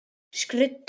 Skrudda gefur út.